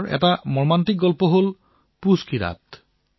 এনেকুৱাই এক হৃদয় বিদাৰক কাহিনী হল পুহৰ নিশা